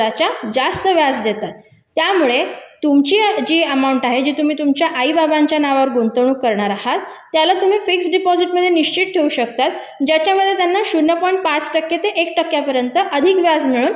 जास्त व्याज देतात त्यामुळे तुमची जी अमाऊंट आहे तुम्ही तुमच्या आई-बाबांच्या नावावर गुंतवणूक करणार आहात त्याला तुम्ही फिक्स डिपॉझिट मध्ये निश्चित ठेवू शकता ज्याच्यामध्ये त्यांना अर्धा टक्के ते एक टक्के पर्यंत अधिक व्याज मिळून